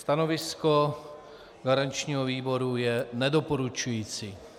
Stanovisko garančního výboru je nedoporučující.